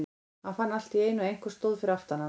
Hann fann allt í einu að einhver stóð fyrir aftan hann.